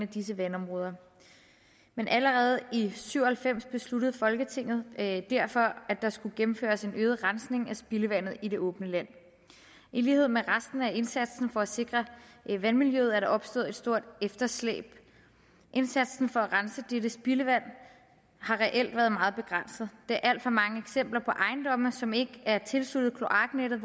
disse vandområder men allerede i nitten syv og halvfems besluttede folketinget derfor at der skulle gennemføres en øget rensning af spildevandet i det åbne land i lighed med resten af indsatsen for at sikre vandmiljøet er der opstået et stort efterslæb indsatsen for at rense dette spildevand har reelt været meget begrænset der er alt for mange eksempler på ejendomme som ikke er tilsluttet kloaknettet